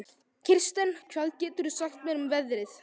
Kirsten, hvað geturðu sagt mér um veðrið?